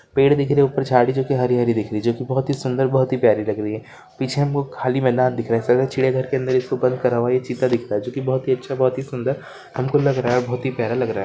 पेड़ दिख रहे हैं ऊपर के झाड़ी जोक जो की हरी-भरी दिख रही है जो भी सुंदर और प्यारी दिख रही है पीछे खाली मैदान दिख रही है चिड़ियाघर में उसको बंद कर हुआ है यह चिता दिखता है जो की बहुत ही अच्छा बहुत सुंदर हमकोलग रहा है और प्यारा लग रहा है|